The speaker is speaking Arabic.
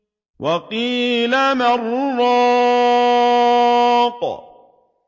وَقِيلَ مَنْ ۜ رَاقٍ